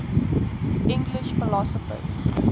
english philosophers